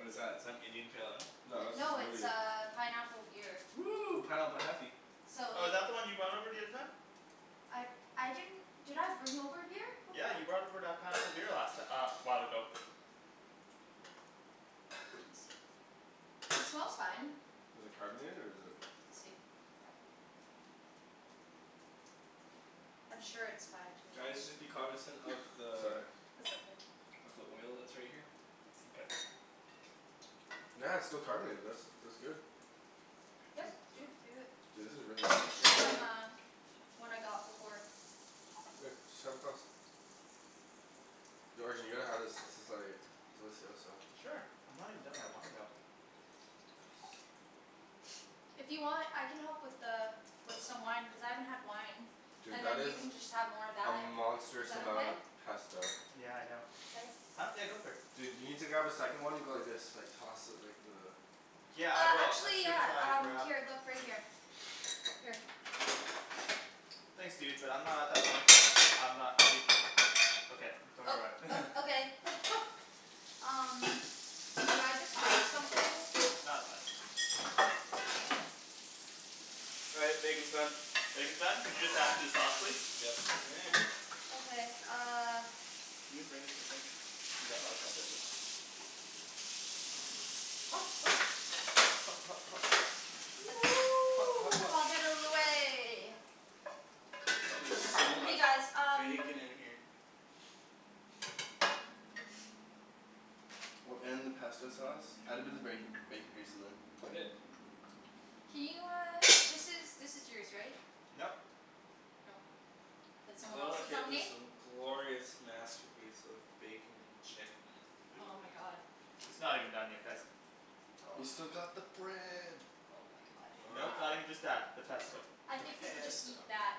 What is that, is that Indian Pale Ale? No this is No it's Moody. uh pineapple beer. Woo! Pineapple heffy. So Oh is like that the one you brought over the other time? I I didn't Did I bring over a beer before? Yeah you brought over that pineapple beer last ti- uh a while ago. Let me see. It smells fine. Is it carbonated or is it We'll see. I'm sure it's fine to Guys just be cognizant of the Sorry. That's okay. of the oil that's right here. Okay. Yeah, it's still carbonated, this. That's good. Yep dude, do it. Dude this is really It was tasty. just on the One I got before. Here, just have a glass. Yo Arjan you gotta have this, this is like delicioso. Sure. I'm not even done my wine though. If you want I can help with the with some wine, cuz I haven't had wine. Dude And that then you is can just have more of a that. monstrous Is that amount okay? of pesto. Yeah I know. Thanks. Huh? Yeah go for it. Dude you need to grab a second one and go like this, like toss it like the Yeah I Uh will, as actually soon as yeah I um, grab here, look, right here. Here. Thanks dude, but I'm not at that point yet, I'm not um Okay. Don't Oh worry about it. uh okay. Um Did I just break something? Nah, it's fine. All right, bacon's done. Bacon's done? Could you just add it to the sauce please? Yes you may. Okay uh Can you bring this to the sink? Yeah, untucker this. Hot hot. Hot hot hot. Hot hot hot. Get out of the way. Wow there's so Hey much guys um bacon in here. Well, and the pesto sauce. Add a bit of bacon, bacon grease in there. I did. Can you uh, this is, this is yours right? Nope. No. That's someone Look else's at on this me? um glorious masterpiece of bacon and chicken and Oh food. my god. It's not even done yet guys. We've still got the bread. Oh my god. Nope, not even just that. The pesto. I think we could just Pesto. eat that.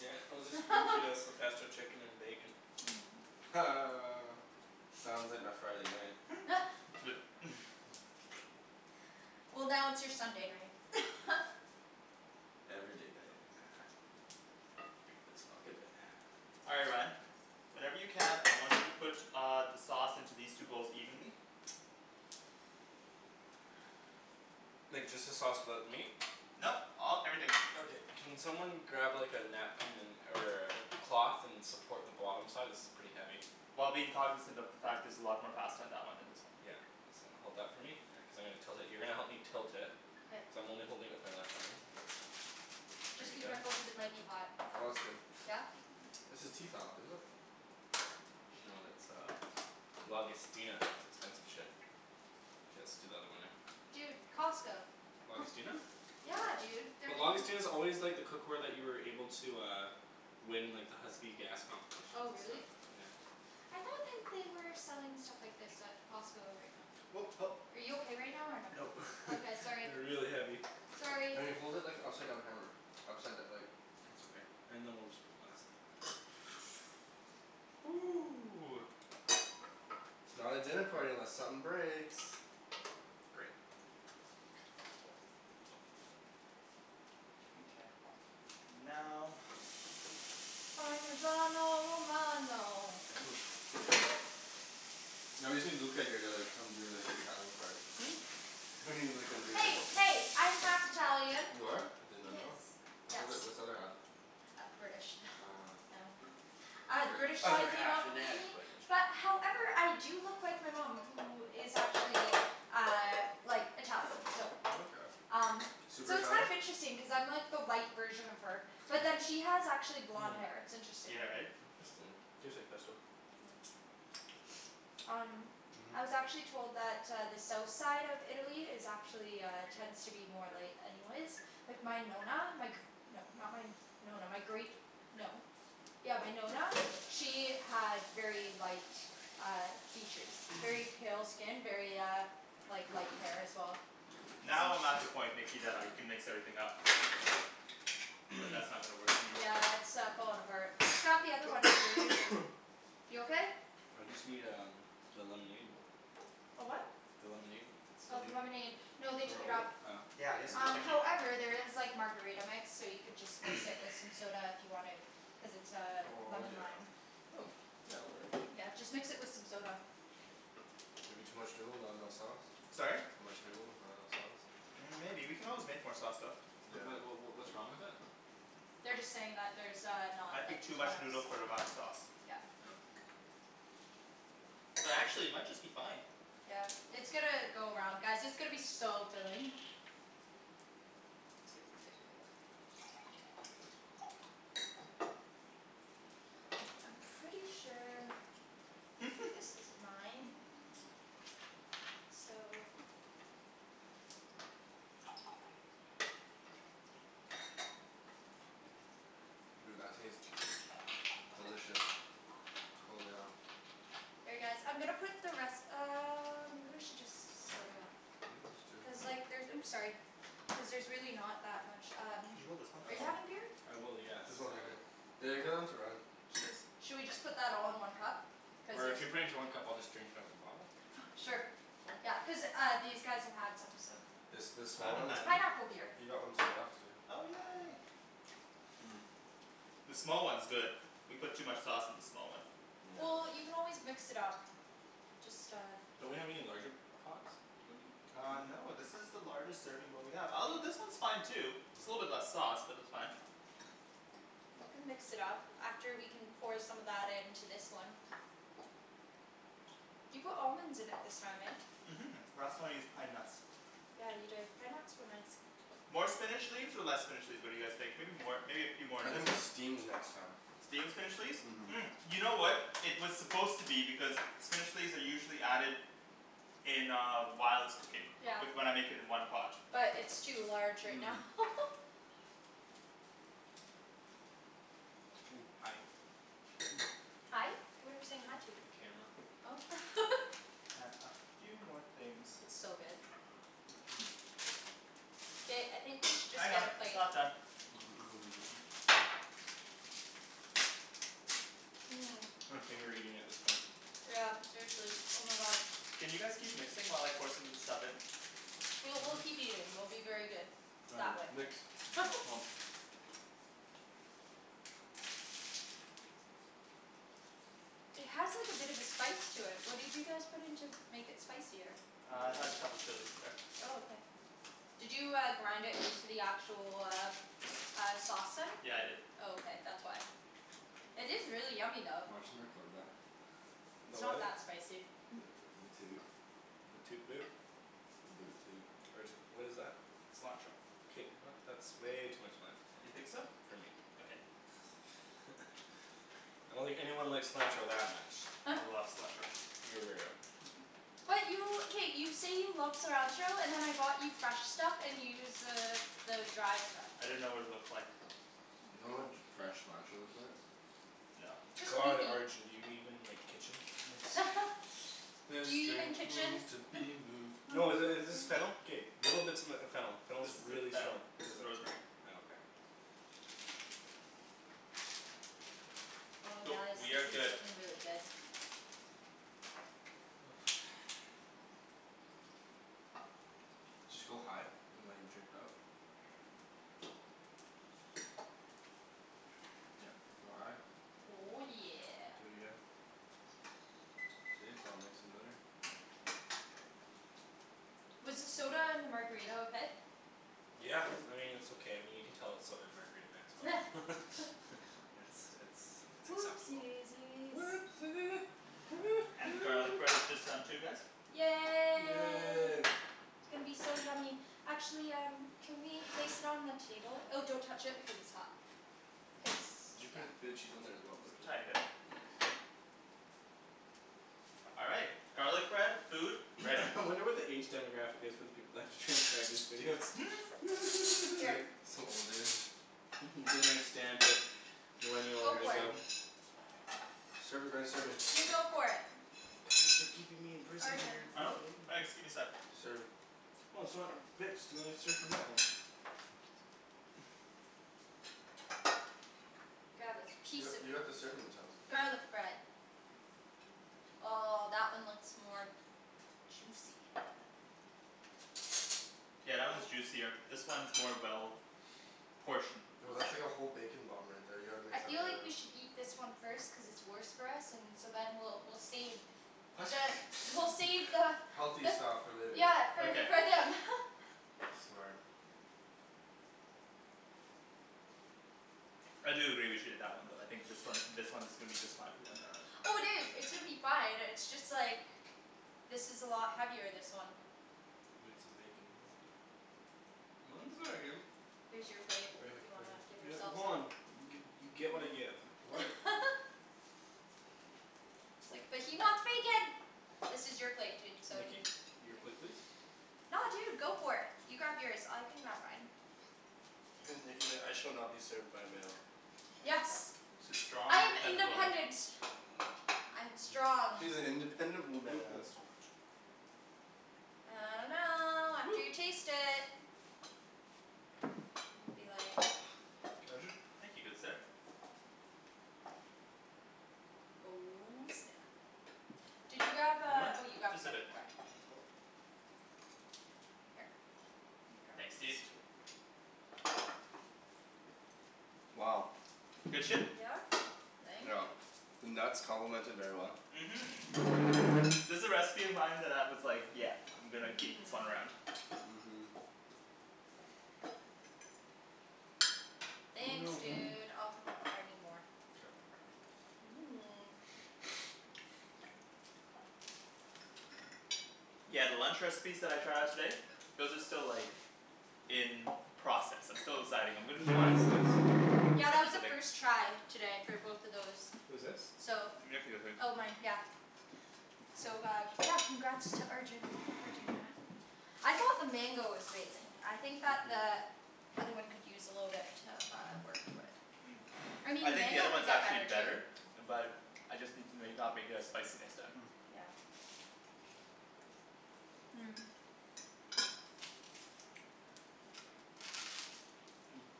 Yeah, we'll spoon feed us the pesto chicken and bacon. Ha. Sounds like my Friday night. Flip. Well now it's your Sunday night. Every day night. It's fuck a day. All right Ryan. Whenever you can, I want you to put uh the sauce into these two bowls evenly. Like just the sauce without the meat? Nope, all, everything. Okay. Can someone grab like a napkin and or a cloth and support the bottom side? This is pretty heavy. While being cognizant of the fact there's a lot more pasta in that one than this one. Yeah. So hold that for me, yeah, cuz I'm gonna tilt it. You're gonna help me tilt it. Cuz K. I'm only holding it with my left arm. Just be careful cuz it might be hot. Oh that's good. Yeah? This is Tefal, isn't it? No it's uh Lagostina. It's expensive shit. K, let's do the other one now. Dude, Costco. Lagostina? Yeah dude, they're But giving Lagostina's always like the cookware that you were able to uh win in like the Husky gas Oh competitions and really? stuff, yeah. I thought that they were selling stuff like this at Costco right now. Oh help. Are you okay right now or no? Nope. Okay, sorry. They're really heavy. Sorry! Wait, hold it like an upside down hammer. Upside d- like It's okay. And then we'll just put the last little bit. Ooh. It's not a dinner party unless something breaks. Great. Mkay. Now Parmesano romano. No, you see Luca here they're like, come do like the Italian part. Hmm? He's not gonna do this. Hey hey, I'm half Italian. You are? I did not know. Yes. What's the Yes. other what's the other half? Uh British. Ah. Oh. Ah, the British Other side came half out inadequate. But however I do look like my mom, who is actually uh like Italian, so Oh okay. um Super So it's kind Italian? of interesting cuz I'm like the light version of her. Hmm. Yeah, right? Interesting. Tastes like pesto. Hmm. Um Mhm. I was actually told that uh the south side of Italy is actually uh, tends to be more light anyways. Like my Nonna, my gr- No, not my Nonna, my great No. Yeah, my Nonna, she had very light uh features very pale skin, very uh like light hair as well. Now I'm at the point Nikki that I can mix everything up. But that's not gonna work for me. Yeah it's uh falling apart. Just grab the other one that you were using. You okay? I just need um the lemonade. A what? The lemonade? If it's still Oh, the here? lemonade. No Want they me to took it hold it? up. Oh. Yeah, yes please, Um thank you. however there is like margarita mix, so you could just mix it with some soda if you wanted. Cuz it's uh Oh lemon yeah. lime. Hmm. Yeah, that works. Yeah, just mix it with some soda. Maybe too much noodle, not enough sauce? Sorry? Too much noodle, not enough sauce. Mm maybe, we can always make more sauce though. Yeah. Wait what what what what's wrong with it? They're just saying that there's uh I not like think too much kind of noodle for the amount of sau- sauce. Yeah. Oh. But actually it might just be fine. Yeah. It's gonna go around, guys, it's gonna be so filling. It's gonna be good. I'm pretty sure this is mine. So. Dude, that tastes delicious. Holy hell. Here guys, I'm gonna put the res- um or maybe I should just split it up. Yeah, let's do. Cuz like there's, oops sorry. Cuz there's really not that much um Can you hold this one Are please? you Um having beer? I will, yes, There's um one right here. They're going to run. Cheers. Shall we just put that all in one cup? Cuz Or if if you put it into one cup I'll just drink it out of the bottle. Sure. Oh. Yeah. Cuz uh these guys have had some, so It's this I small haven't one? It's had any. pineapple beer. He got one too, after you. Oh yay. Mmm. The small one's good. We put too much sauce in the small one. Well, Yeah. you can always mix it up. Just uh Don't we have any larger pots? Uh no this is the largest serving bowl we have. Although this one's fine too. Just a little bit Mhm. less sauce, but that's fine. You can mix it up. After we can pour some of that into this one. You put almonds in it this time, eh? Mhm. Last time I used pine nuts. Yeah you did. Pine nuts were nice. More spinach leaves or less spinach leaves, what do you guys think? Maybe more. Maybe a few more I in this think one steamed next time. Steam the spinach leaves? Mhm Mm, you know what It was supposed to be, because spinach leaves are usually added in uh whilst cooking. Yeah. With what I'm making in one pot. But it's too large right now. Mmm. Hi. Hi? What are we saying hi to? The camera. Oh. And a few more things. It's so good. Ba- I think we should just get a it's plate. not done. Mmm. Mmm. I'm finger eating at this point. Yeah seriously, oh my god. Can you guys keep mixing while I pour some of this stuff in? We'll, we'll keep eating. We'll be very good. That Found way. you. Nikks? It has like a bit of a spice to it, what did you guys put in to make it spicier? Uh it has a couple chilis in there. Oh okay. Did you uh grind it into the actual, uh uh sauce then? Yeah I did. Oh okay, that's why. It is really yummy though. Watch 'em record that. It's About not what? that spicy. The the toot. The toot boot? The boot toot. Arjan what is that? Cilantro. K not, that's way too much cilantro. You think so? For me. Okay. I don't think anyone likes cilantro that much. I love cilantro. You're a weirdo. But you, k, you say you love cilantro, and then I bought you fresh stuff and you use the the dry stuff. I didn't know what it looked like. Oh You know my what god. fresh cilantro looks like? No. Just God Arjan, do you even like, kitchen? This Do you even drink kitchen? needs to be moved. No i- is this fennel? K little bits of m- fennel. Fennel This is isn't really fennel. strong. This is rosemary. Oh okay. Oh Cool. guys, We this have is good looking really good. Just go high and like drip it up. Yep. Like, go high. Oh yeah. Do it again. See, it's all mixed and better. Was the soda and the margarita okay? Yeah, I mean it's okay. I mean you can tell it's soda and margarita mix, but. It's it's it's Whoopsie acceptable. daisies. Whoopsie, hoo And the garlic hoo. bread is just done too guys. Yay. Yay. It's gonna be so yummy. Actually um can we place it on the table? Oh don't touch it because it's hot. Cuz, Did you put yeah. a bit of cheese on there as well or is it just Tiny bit. Nice. All right. Garlic bread, food, ready. I wonder what the age demographic is for the people that have to transcribe these videos. Here. some old dude. Mhm. Don't understand it. Millennial Go for it. lingo. Serve it Ryan, serve me. You go for it. Thanks for keeping me in prison Arjan. dear. Huh? Thanks, give me sec. Serve. Well it's not mixed, you wanna serve from that one. Grab a You piece got of you got the serving utensils. garlic bread. Oh that one looks more juicy. Yeah, that one's juicier. This one's more well portioned. Yo that's like a whole bacon bomb right there, you gotta mix I that feel one like up. we should eat this one first cuz it's worse for us, and so then we'll we'll save the, we'll save the Healthy But stuff for later. Yeah for, Okay. for them. Smart. I do agree with you on that one though, I think this one this one is gonna be just fine for them. All right. Oh dude, it's gonna be fine, it's just like this is a lot heavier, this one. Need some bacon with that. Mine's very good. Here's your plate, Right if here, you right wanna here. give yourself hold some. on, you you get what I give. What It's like, but he wants bacon. This is your plate dude, so y- Nikki? Your plate please. No dude, go for it. You grab yours. I can grab mine. Nikki's like "I shall not be served by a male." Yes. She's strong I am independent woman. independent. I am strong. She's an independent I think that's woman. too much. I dunno, after Woo. you taste it. Gonna be like Arjan? Thank you, good sir. Oh snap! Did you grab uh, More? oh you grabbed Just the a other bit more. part. Here. Thanks dude. Wow. Good shit? Yeah. Thank you. The nuts complement it very well. Mhm. This a recipe of mine that I was like, yeah I'm gonna keep this one around. Mhm. Thanks No. dude, I'll come up if I need more. Mmm. Yeah, the lunch recipes that I tried out today those are still like in process. I'm still deciding. I'm gonna Whose keep wine is this? Yeah that was Nikki's a a big first try today for both of those. Who's this? So Nikki I think. Oh mine, yeah. So uh, yeah, congrats to Arjan for doing that. I thought the mango was amazing. I think that the other one could use a little bit uh of work but Mm. I I mean think the other mango could one's get actually better better. too. But I just need to make, not make it as spicy next time. Yeah. Mmm.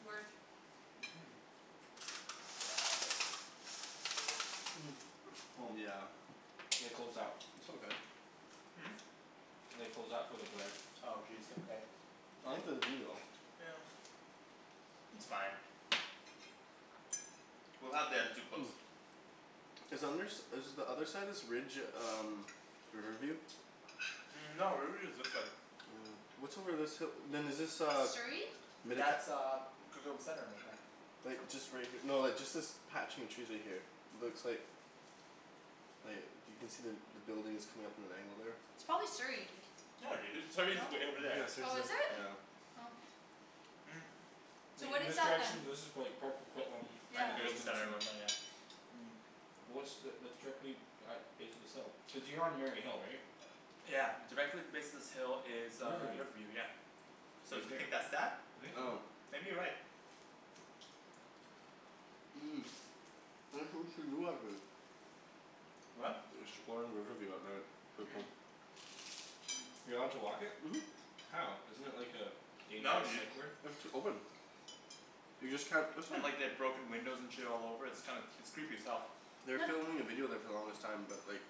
Work. Mhm. Mmm. Yeah. They closed that. It's all good. Hmm? They closed that for the glare. Oh jeez, okay. I like the view though. Yeah. It's fine. We'll have the other two close. Is under s- is the other side of this ridge um Riverview? Mm no, Riverview is this way. Oh. What's over this hi- then is this uh Surrey? That's uh Coquitlam Center it looked like. Like just right here, no just like this patch in trees right here. Looks like like you can see the buildings coming up at an angle there. It's probably Surrey, dude. No dude, Surrey's No? way over there. Yeah, Surrey's Oh, at, is it? yeah. Oh. Mm So Like what in is this that then? this is prolly like Port Coquitlam in Yeah the just distance and Mm. What's the, that's directly at base of this hill? Cuz you're on Mary Hill right? Yeah. Directly at the base of this hill is uh Riverview. Riverview, yeah. So do you think that's that? I think so. Maybe you're right. What? Riverview at night. Mm. You allowed to walk it? Mhm. How? Isn't it like a No dangerous dude. psych ward? It's open. You just can't, that's not And like they've broken windows and shit all over, it's kind of, it's creepy as hell. They were filming a video there for the longest time, but like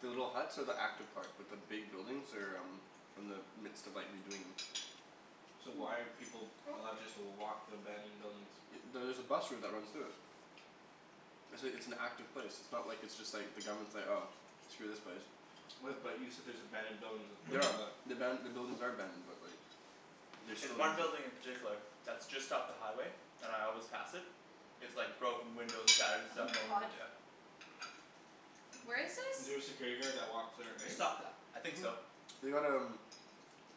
The little huts are the active part, but the big buildings are um in the midst of like redoing 'em. So why are people allowed just to walk the abandoned buildings? Y- there's a bus route that runs through it. It's a it's an active place. It's not like it's just like, the government's like "Oh, screw this place." What but you said there's abandoned buildings with Mhm. The aban- the buildings are abandoned but like they There's still one building in particular that's just off the highway and I always pass it. It's like broken windows, shattered Oh stuff my all over, god. yeah. Where is Is this? there a security guard that walks there at night? Just off the, I think so. They got um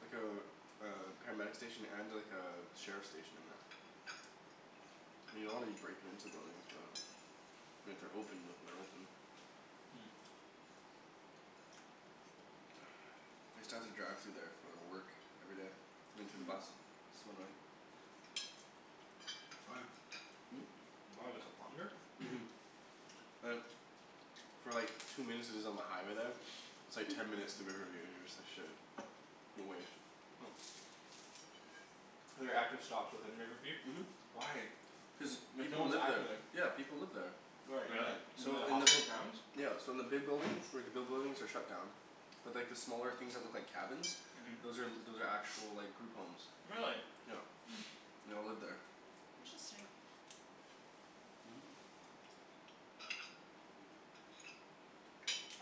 like a a paramedic station and like a sheriff station in there. I mean you don't wanna be breaking into buildings but I mean if they're open, if they're open. Hmm. I used to have to drive through there for uh work. Every day. Into the bus. So annoying. Why? Hmm? Why, was it longer? Mhm. Like For like two minutes is is on the highway there. It's like ten minutes through Riverview, and you're just like "Shit." There are active stops within Riverview? Mhm. Why? Cuz Like no people one's live there. active there. Yeah people live there. Where, Really? in the in So the in the hospital grounds? Yeah so in the big buildings, like the big buildings are shut down. But like the smaller things that look like cabins Mhm. those are those are actual like group homes. Really? Yeah. They all live there. Interesting. Mhm.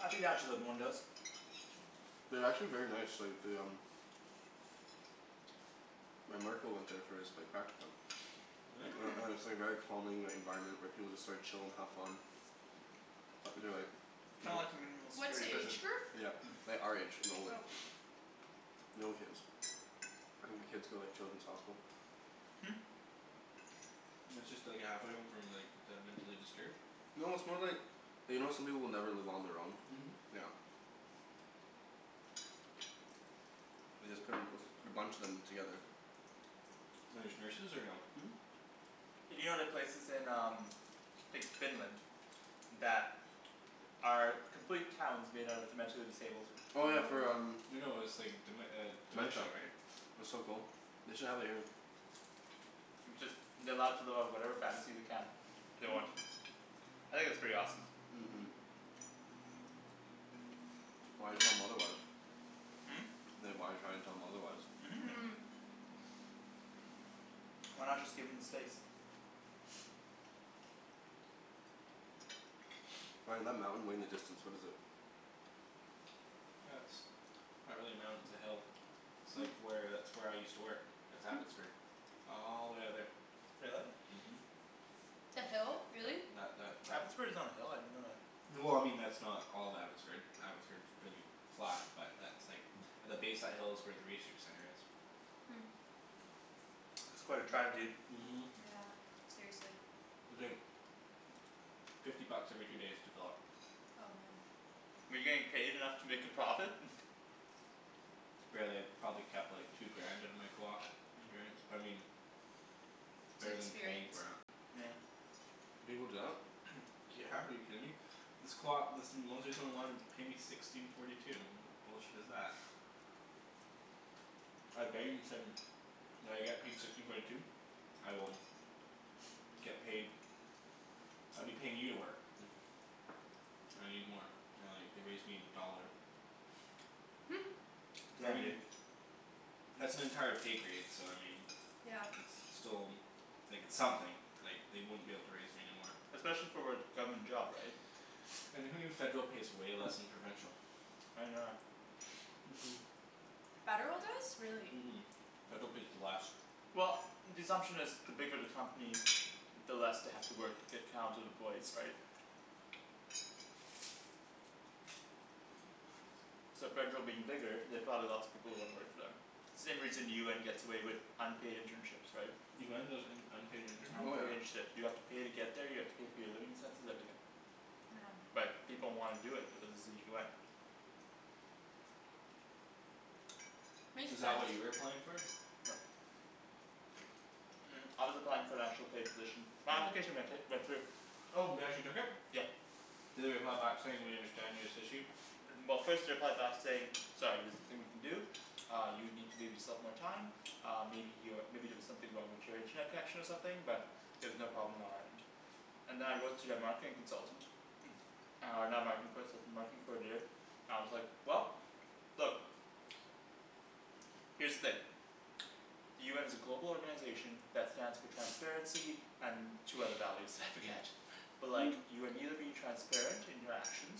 I'd be down to living in one of those. Mm. They're actually very nice, like they um My marker went there for his like practicum. Really? And Hmm. and it's like very calming, the environment, where people like chill and have fun. Uh they're like Kind of like a minimal What's security the prison. age group? Yeah. Like our age and older. Oh. No kids. I think the kids go like Children's Hospital. Hmm. It's just like a halfway home from like the mentally disturbed? No, it's more like you know how some people will never live on their own? Mhm. Yeah. They just put a p- put a bunch of them together. And there's nurses or no? Mhm. Hey do you know the places in um like Finland that are complete towns made out of the mentally disabled. Oh yeah for um, No no it's like dem- uh dementia dementia. right? That's so cool. They should have it here. It's just they're allowed to live out whatever fantasy they can. They want. I think that's pretty awesome. Mhm. Why tell 'em otherwise? Hmm? Like why try to tell them otherwise? Mhm. Mmm. Why not just give them the space? Ryan, that mountain way in the distance, what is it? That's not really a mountain, it's a hill. It's like where, that's where I used to work. That's Abbotsford. All the way out there. Really? Mhm. The hill? Really? That that Abbotsford is on a hill? I didn't know that. Well I mean that's not all of Abbotsford, Abbotsford's pretty flat, but that's like the base of that hill is where the research center is. Hmm. That's quite a drive dude. Mhm. Yeah, seriously. It's like fifty bucks every two days to fill up. Oh man. Were you getting paid enough to make a profit? Barely. Probably kept like two grand out of my coop experience, but I mean It's better than paying experience. for it. Yeah. People do that? Yeah, are you kidding me? This coop, this paid me sixteen forty two. What bullshit is that? said "Will I get paid sixteen forty two?" "I will" "get paid." "I'd be paying you to work." "I need more." They're like, they raised me a dollar. I Yeah mean dude. that's an entire pay grade, so I mean Yeah. it's, it's still like, it's something. Like, they wouldn't be able to raise me anymore. Especially for what, government job right? And who knew federal pays way less than provincial? I didn't know that. Mhm. Mmm. Federal does? Really. Mhm. Federal pays less. Well the assumption is the bigger the company the less they have to work to get counted employees right? So federal being bigger, they have probably lots of people who wanna work for them. Same reason UN gets away with unpaid internships, right? UN does un- unpaid Oh yeah. internships? Unpaid internships, you have to pay to get there, you have to pay for your living expenses, everything. Yeah. But people wanna do it because it's the UN. Is Makes that what you sense. were applying for? No. Mm I was applying for an actual paid position. My application went hi- went through. Oh, they actually took it? Yeah. Did they reply back saying "We understand this issue?" Well first they replied back to say "Sorry there's nothing we can do." "Uh you need to leave yourself more time." "Uh maybe you're, maybe there was something wrong with your internet connection or something, but" "there's no problem on our end." And then I wrote to their marketing consultant. Uh and with the marketing coordinator. And I was like, "Well, look." "Here's the thing." "The UN is a global organization that stands for transparency and two other values, I forget." "But like, you are neither being transparent in your actions,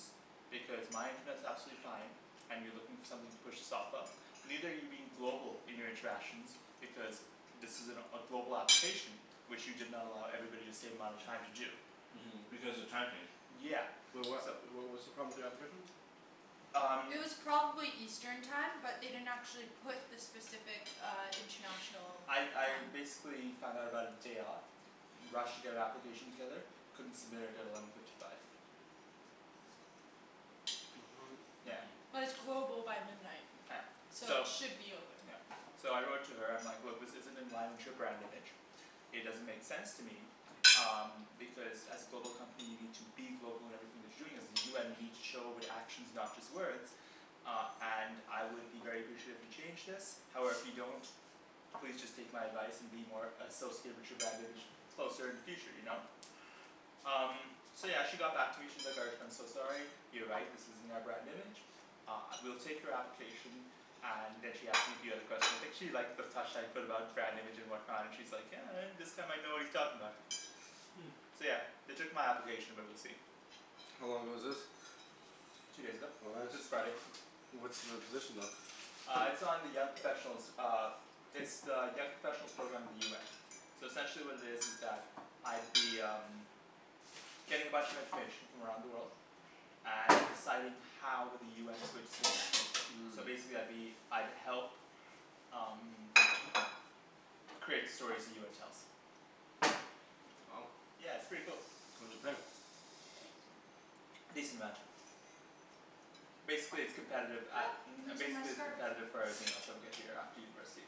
because my internet's absolutely fine." "And you're looking for something to push this off of." "Neither are you being global in your interactions, because this is an a global application" "which you did not allow everybody the same amount of time to do." Mhm, because the time changed. Yeah. Wait what, So wh- what's the problem with the application? Um It was probably eastern time, but they didn't actually put the specific uh international I time. I basically found out about it day of. Rushed to get an application together. Couldn't submit it at eleven fifty five. Yeah. Mhm. But it's global by midnight. Yeah. So it So should be open. Yeah. So I wrote to her, I'm like "Look, this isn't in line with your brand image." "It doesn't make sense to me." "Um because as a global company, you need to be global in everything that you're doing. As the UN you need show it with actions, not just words." "Uh and I would be very appreciate if you changed this." "However if you don't, please just take my advice and be more associated with your brand image closer in the future, you know? Um So yeah, she got back to me, she's like "Arjan, I'm so sorry." You're right, this isn't our brand image. Uh, we'll take your application. And then she asked me a few other questions. I think she liked the touch that I put about brand image and whatnot. And she's like "Yeah, uh this guy might know what he's talking about." Hmm. So yeah. They took my application but we'll see. How long ago was this? Two days ago. Oh nice. This Friday. What's the position though? Uh it's on the young professionals uh It's the young professionals program of the UN. So essentially what it is is that I'd be um getting a bunch of information from around the world. And deciding how with the UN is going to spin that. Mmm. So basically I'd be, I'd help um create the stories the UN tells. Wow. Yeah, it's pretty cool. What does it pay? A decent amount. Basically it's competitive, a- You're um gonna see my basically it's scarf. competitive for everything else I would get here after university.